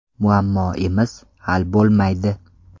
Muammoimiz hal bo‘lmaydi.